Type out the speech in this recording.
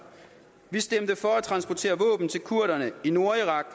vi stemte for at transportere våben til kurderne i nordirak og